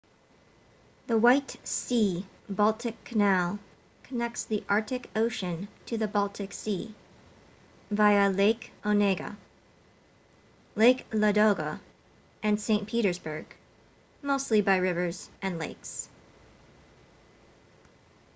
the white sea-baltic canal connects the arctic ocean to the baltic sea via lake onega lake ladoga and saint petersburg mostly by rivers and lakes